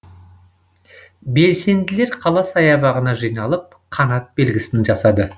белсенділер қала саябағына жиналып қанат белгісін жасады